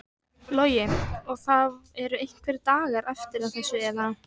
Logi: Og það eru einhverjir dagar eftir að þessu eða?